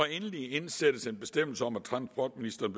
endelig indsættes en bestemmelse om at transportministeren